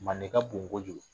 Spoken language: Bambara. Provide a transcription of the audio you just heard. Manden ka bon kojugu